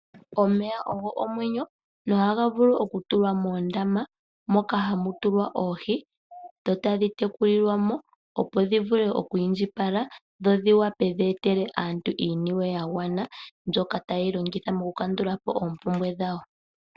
Omeya ogo omwenyo, nohaga vulu okutulwa moondaama moka hamutulwa oohi dho tadhi tekulilwamo opo dhivule oku indjipala dho dhivule dhi itele aantu iiniwe yagwana, mbyoka taye yi longitha mokukandulapo oompumbwe dhawo.